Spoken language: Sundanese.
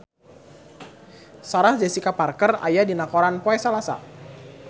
Sarah Jessica Parker aya dina koran poe Salasa